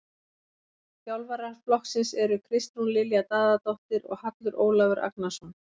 Þjálfara flokksins eru Kristrún Lilja Daðadóttir og Hallur Ólafur Agnarsson.